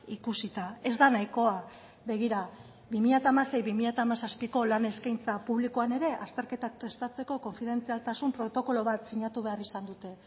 ikusita ez da nahikoa begira bi mila hamasei bi mila hamazazpiko lan eskaintza publikoan ere azterketak prestatzeko konfidentzialtasun protokolo bat sinatu behar izan dute